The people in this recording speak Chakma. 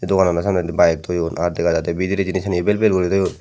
dogana no samnedi bike toyon aar dega jaide bidiredi jinij sani vel vel guri toyon.